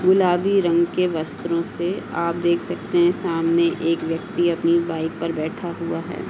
गुलाबी रंग के वस्त्रों से आप देख सकते है सामने एक व्यक्ति अपनी बाइक पर बैठा हुआ है।